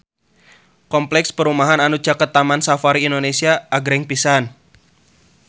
Kompleks perumahan anu caket Taman Safari Indonesia agreng pisan